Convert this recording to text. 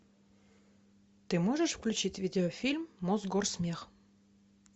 ты можешь включить видеофильм мосгорсмех